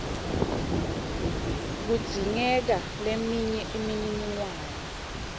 kudzingeka leminye imininingwane